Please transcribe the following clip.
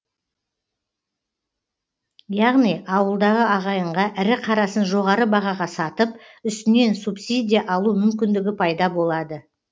яғни ауылдағы ағайынға ірі қарасын жоғары бағаға сатып үстінен субсидия алу мүмкіндігі пайда болады